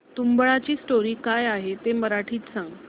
तुंबाडची स्टोरी काय आहे ते मराठीत सांग